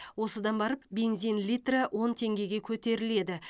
осыдан барып бензин литрі он теңгеге көтеріледі